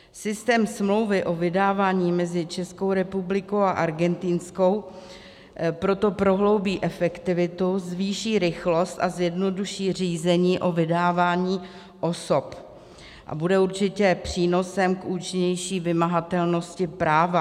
Systém smlouvy o vydávání mezi Českou republikou a Argentinskou proto prohloubí efektivitu, zvýší rychlost a zjednoduší řízení o vydávání osob a bude určitě přínosem k účinnější vymahatelnosti práva.